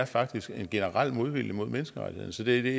faktisk er en generel modvilje mod menneskerettighederne så det